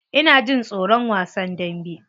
Ina jin tsoron wasan dambe.